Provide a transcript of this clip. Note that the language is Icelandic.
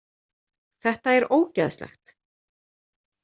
Þetta er ógeðslegt.